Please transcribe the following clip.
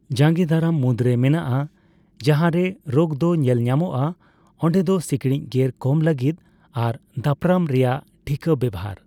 ᱡᱟᱸᱜᱮ ᱫᱟᱨᱟᱢ ᱢᱩᱫᱨᱮ ᱢᱮᱱᱟᱜᱼᱟ ᱡᱟᱦᱟᱸ ᱨᱮ ᱨᱳᱜ ᱫᱚ ᱧᱮᱞ ᱧᱟᱢᱚᱜᱼᱟ ᱚᱸᱰᱮ ᱫᱚ ᱥᱤᱸᱠᱬᱤᱡ ᱜᱮᱨ ᱠᱚᱢ ᱞᱟᱹᱜᱤᱫ ᱟᱨ ᱫᱟᱯᱨᱟᱢ ᱨᱮᱭᱟᱜ ᱴᱷᱤᱠᱟᱹ ᱵᱮᱣᱦᱟᱨ ᱾